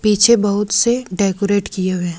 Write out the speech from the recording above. पीछे बहुत से डेकोरेट किये हुए है।